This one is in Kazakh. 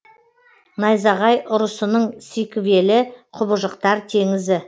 найзағай ұрысының сиквелі құбыжықтар теңізі